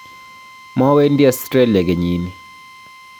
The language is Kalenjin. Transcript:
mowendi australia kenyini